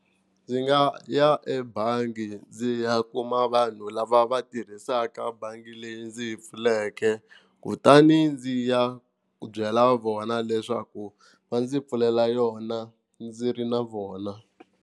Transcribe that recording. Ndzi nga ya ebangi ndzi ya kuma vanhu lava va tirhisaka bangi leyi ndzi yi pfuleke, kutani ndzi ya ku byela vona leswaku va ndzi pfulela yona ndzi ri na vona.